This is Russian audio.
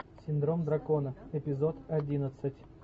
синдром дракона эпизод одиннадцать